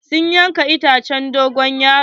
Sun yanka itacen dogon yaro.